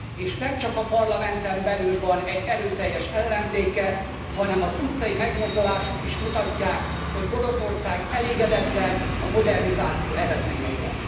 És nemcsak a parlamenten belül van erőteljes ellenzéke, hanem az utcai megmozdulások is mutatják, hogy Oroszország elégedetlen a modernizáció eredményeivel.